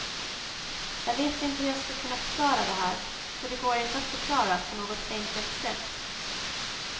Jag vet inte hur jag ska kunna förklara det här, för det går inte att förklara på något enkelt sätt.